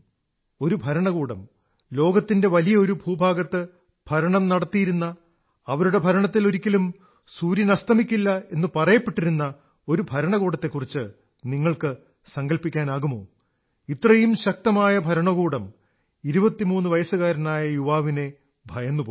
ഒരു ഭരണകൂടം ലോകത്തിന്റെ വലിയ ഒരു ഭൂഭാഗത്ത് ഭരണം നടത്തിയിരുന്ന അവരുടെ ഭരണത്തിൽ ഒരിക്കലും സൂര്യനസ്തമിക്കില്ല എന്നു പറയപ്പെട്ടിരുന്ന ഒരു ഭരണകൂടത്തെക്കുറിച്ച് നിങ്ങൾക്ക് സങ്കല്പിക്കാനാകുമോ ഇത്രയും ശക്തമായ ഭരണകൂടം 23 വയസ്സുകാരനായ യുവാവിനെ ഭയന്നുപോയി